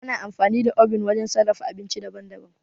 Ana amfani da obin wajen sarrafa abinci daban-daban.